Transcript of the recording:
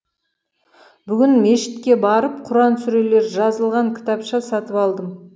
бүгін мешітке барып құран сүрелері жазылған кітапша сатып алдым